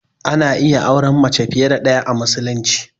Ana iya auran mace fiye da ɗaya a musulunci.